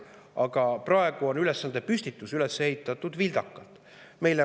Aga praegu on ülesandepüstitus üles ehitatud vildakalt.